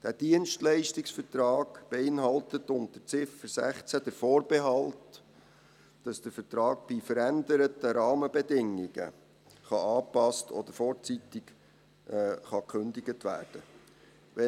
Dieser Dienstleistungsvertrag beinhaltet unter Ziffer 16 den Vorbehalt, dass der Vertrag bei veränderten Rahmenbedingungen angepasst oder vorzeitig gekündigt werden kann.